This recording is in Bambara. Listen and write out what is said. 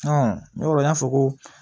n'o y'a fɔ ko